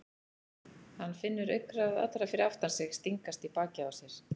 Hann finnur augnaráð allra fyrir aftan sig stingast í bakið á sér.